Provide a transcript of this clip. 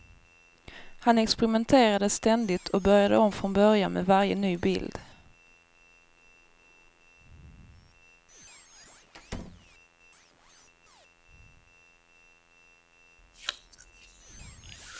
Han experimenterade ständigt och började om från början med varje ny bild.